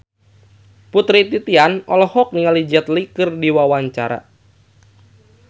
Putri Titian olohok ningali Jet Li keur diwawancara